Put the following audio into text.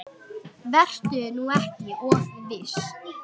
Vertu nú ekki of viss.